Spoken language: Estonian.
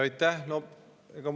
Aitäh!